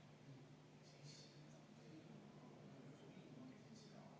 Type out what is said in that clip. Henn, kas sul on lisaaega vaja?